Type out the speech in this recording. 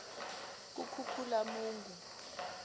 kukhukhulamungu